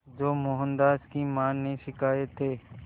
जो मोहनदास की मां ने सिखाए थे